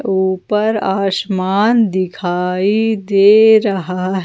ऊपर आसमान दिखाई दे रहा है।